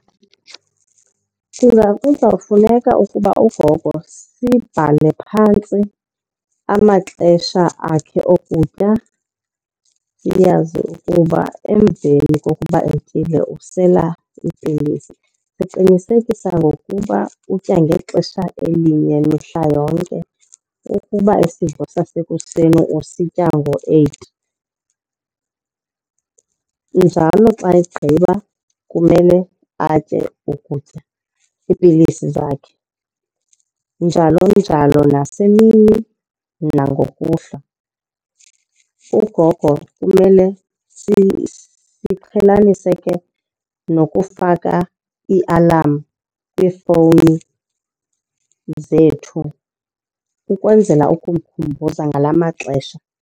Ndicinga kuzawufuneka ukuba ugogo sibhale phantsi amaxesha akhe okutya siyazi ukuba emveni kokuba etyile usela iipilisi. Siqinisekisa ngokuba utya ngexesha elinye mihla yonke. Ukuba isidlo sasekuseni usitya ngo-eight, njalo xa egqiba kumele atye ukutya iipilisi zakhe. Njalo njalo nasemini nangokuhlwa. Ugogo kumele siqhelanise ke nokufaka iialamu kwiifowuni zethu ukwenzela ukumkhumbuza ngala maxesha.